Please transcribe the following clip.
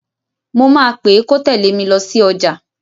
Mo máa péè kó tèlé mi lọ sí ọjà.